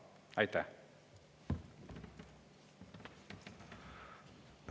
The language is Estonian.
Aitäh!